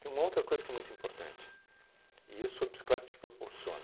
Tem uma outra coisa que é muito importante, e isso a bicicleta te proporciona.